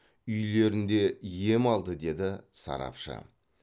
үйлерінде ем алды деді сарапшы